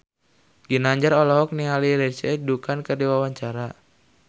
Ginanjar olohok ningali Lindsay Ducan keur diwawancara